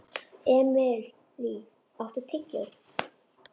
Emilý, áttu tyggjó?